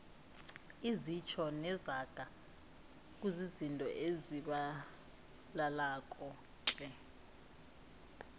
izitjho nezaga kuzizinto ezitjhabalalako tle